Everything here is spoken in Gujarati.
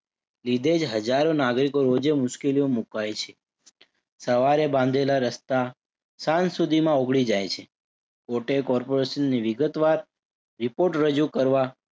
લીધે જ હજારો નાગરિકો રોજેય મુશ્કેલીમાં મુકાઈ છે. સવારે બાંધેલા રસ્તા સાંજ સુધીમાં ઉખડી જાય છે. કોર્ટે corporation ને વિગતવાર report રજૂ કરવા